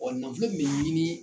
nafolo kun bɛ ɲini.